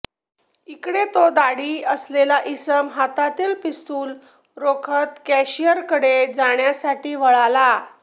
इकडे तो दाढी असलेला इसम हातातील पिस्तूल रोखत कॅशीअरकडे जाण्यासाठी वळाला